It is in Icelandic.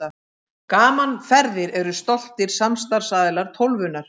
Gaman Ferðir eru stoltir samstarfsaðilar Tólfunnar.